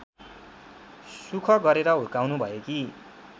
सुख गरेर हुर्काउनुभएकी